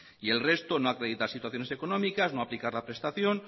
y el resto no acredita situaciones económicas no aplica la prestación